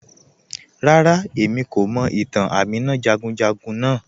Ràrà, ẹ̀mí kò mọ̀ ìtàn Àmínà jàgùnjàgùn naa